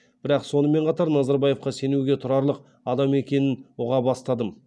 бірақ сонымен қатар назарбаевқа сенуге тұрарлық адам екенін ұға бастадым